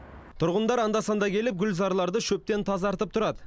тұрғындар анда санда келіп гүлзарларды шөптен тазартып тұрады